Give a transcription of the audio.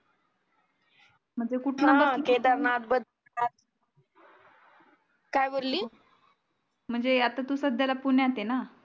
म्हणजे आता तू सध्या पुण्यात आहे ना